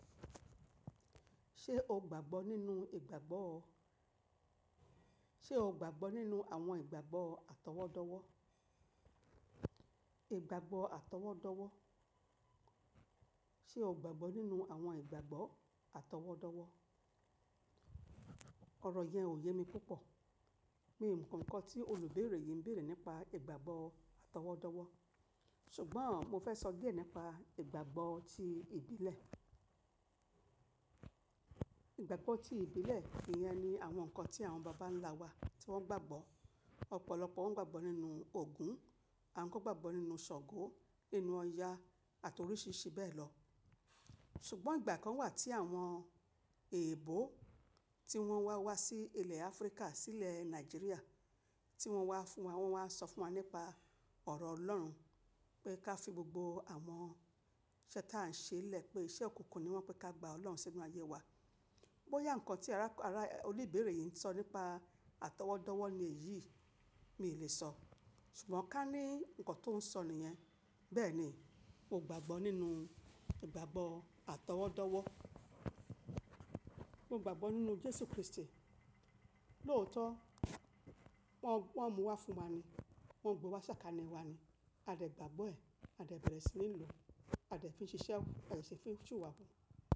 Ṣé o gbàgbọ́ nínú ìgbàgbọ́? Ṣé o gbàgbọ́ nínú àwọn ìgbàgbọ́ àtọwọ́dọ́wọ́? Ìgbàgbọ́ àtọwọ́dọ́wọ́. Ṣé o gbàgbọ́ nínú àwọn ìgbàgbọ́ àtọwọ́dọ́wọ́? Ọ̀rọ̀ yẹn ò yé mi púpọ̀. Mí i nǹkan kan tí olùbéèrè yìí ń bèèrè nípa ìgbàgbọ́ àtọwọ́dọ́wọ́. Ṣùgbọ́n mo fẹ́ sọ díẹ̀ nípa ìgbàgbọ́ ti ìbílẹ̀. Ìgbàgbọ́ ti ìbílẹ̀ ìyẹn ni àwọn nǹkan tí àwọn baba ńlá wa tí wọ́n gbàgbọ́. Ọ̀pọ̀lọpọ̀ wọ́n gbàgbọ́ nínú Ògún, àwọn kan gbàgbọ́ nínú Ṣàngó, nínú Ọya àti oríṣìíríṣìí bẹ́ẹ̀ lọ. Ṣùgbọ́n ìgbà kan wà tí àwọn èèbó tí wọ́n wá wá sí ilẹ̀ Áfríkà, sí ilẹ̀ Nàìjíríà tí wọ́n wá fún wa, wọ́n wá ń sọ fún wa nípa ọ̀rọ̀ Ọlọ́run pé ká fi gbogbo àwọn iṣẹ́ tí a ń ṣe é lẹ̀ pé iṣẹ́ òkùnkùn ni wọ́n pé ká gba Ọlọ́run sínú ayé wa. Bóyá nǹkan tí ara, ara oní-ìbéèrè yìí ń sọ nípa àtọwọ́dọ́wọ́ ni èyí, miì lè sọ. Ṣùgbọ́n ká ní nǹkan tó ń sọ nìyẹn. Bẹ́ẹ̀ni, mo gbàgbọ́ nínú ìgbàgbọ́ àtọwọ́dọ́wọ́. Mo gbàgbọ́ nínú Jésù Kristi. Lóòótọ́ wọ́n, wọ́n mú wá fún wa ni, wọ́n gbé wá sákání wa ni. A dẹ̀ gbàgbọ́ ẹ̀, a dẹ̀ bẹ̀rẹ̀ sí ní lò ó, a dẹ̀ fi ń ṣiṣẹ́, a dẹ̀ ṣe fi ń sì wà á hù.